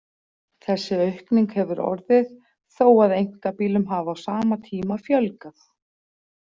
Þessi aukning hefur orðið þó að einkabílum hafi á sama tíma fjölgað.